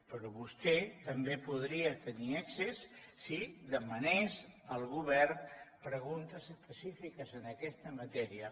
però vostè també hi podria tenir accés si demanés al govern preguntes específiques en aquesta matèria